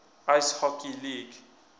ice hockey league